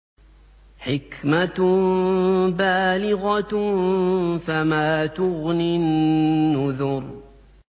حِكْمَةٌ بَالِغَةٌ ۖ فَمَا تُغْنِ النُّذُرُ